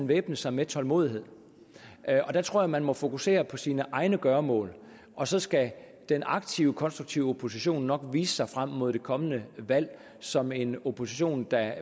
væbne sig med tålmodighed jeg tror man må fokusere på sine egne gøremål og så skal den aktive konstruktive opposition nok vise sig frem mod det kommende valg som en opposition der